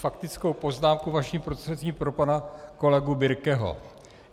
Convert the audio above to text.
Faktickou poznámku vaším prostřednictvím pro pana kolegu Birkeho.